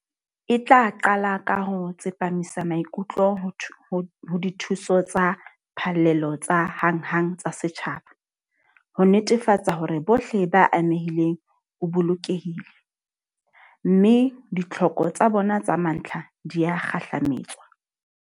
E tla qala ka ho tsepamisa maikutlo ho dithuso tsa phallelo tsa hanghang tsa setjhaba, ho netefatsa hore bohle ba amehileng o bolokehile, mme ditlhoko tsa bona tsa mantlha di a kgahlametswa.